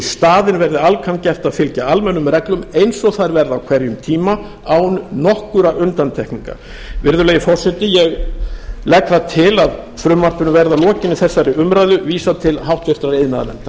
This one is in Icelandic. staðinn verði alcan gert að fylgja almennum reglum eins og þær verða á hverjum tíma án nokkurra undantekninga virðulegi forseti ég gert til að frumvarpinu verði að lokinni þessari umræðu vísað til háttvirtrar iðnaðarnefndar